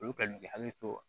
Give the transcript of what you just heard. Olu ka k'i hakili to